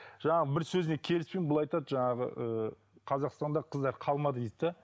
жаңағы бір сөзіне келіспеймін бұл айтады жаңағы ыыы қазақстанда қыздар калмады дейді де